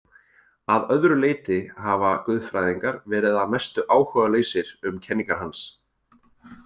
Að öðru leyti hafa guðfræðingar verið að mestu áhugalausir um kenningar hans.